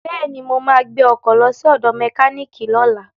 Bẹ́ẹ̀ni, mo ma gbẹ́ ọkọ̀ lọ sí ọ̀dọ̀ mẹkíníìkì lọ́la